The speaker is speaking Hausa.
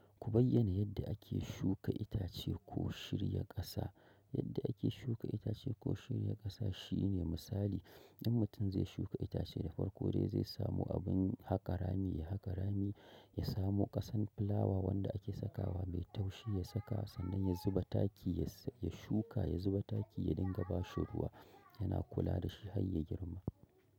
Ku bayyana yadda ake shuka itace ko shirya ƙasa. Yadda ake shuka itace ko shirya ƙasa shine misali in mutum zai shuka itace da farko dai zai samo abin haka rami, ya haka rami, ya samo ƙasan filawa wanda ake sakawa mai taushi, ya saka sannan ya zuba taki, ya shuka, ya zuba taki, ya dinga ba shi ruwa, yana kula da shi har ya girma.